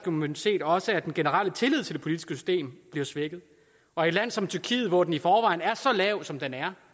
immunitet også at den generelle tillid til det politiske system bliver svækket og i et land som tyrkiet hvor den i forvejen er så lav som den er